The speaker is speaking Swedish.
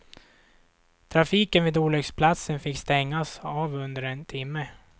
Trafiken vid olycksplatsen fick stängas av under en timme.